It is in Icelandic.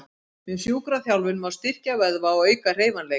Með sjúkraþjálfun má styrkja vöðva og auka hreyfanleika.